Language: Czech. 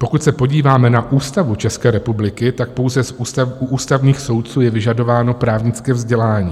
Pokud se podíváme na Ústavu České republiky, tak pouze u ústavních soudců je vyžadováno právnické vzdělání.